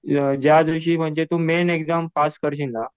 ज्यादिवशी तू main exam pass करशील ना